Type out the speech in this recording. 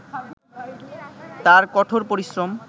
তার কঠোর পরিশ্রম